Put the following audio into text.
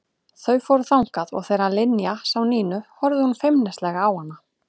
Þau fóru þangað og þegar Linja sá Nínu horfði hún feimnislega á hana.